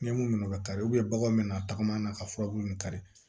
N ye mun minɛ o bɛ kari baganw bɛna tagama ka furabulu min kari